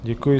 Děkuji.